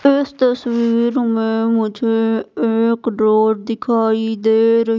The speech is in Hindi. इस तस्वीर में मुझे एक रोड दिखाई दे रही--